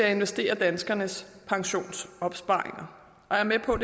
at investere danskernes pensionsopsparinger jeg er med på